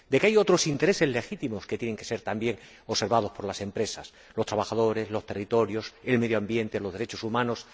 Porque que hay otros intereses legítimos que tienen que ser, también, observados por las empresas los trabajadores, los territorios, el medio ambiente, los derechos humanos...